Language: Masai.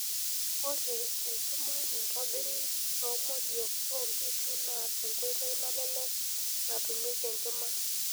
Ore enkima naitobiri toomodiiok oonkishu naa enkoitoi nalelek natumieki enkima.